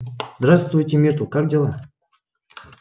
здравствуйте миртл как дела